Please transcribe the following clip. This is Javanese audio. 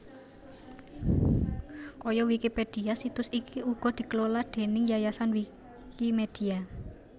Kaya Wikipedia situs iki uga dikelola déning yayasan Wikimedia